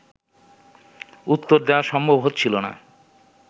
উত্তর দেয়া সম্ভব হচ্ছিল না